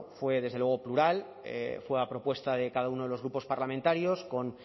fue plural fue a propuesta de cada uno de los grupos parlamentarios con